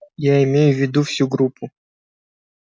я имею в виду всю группу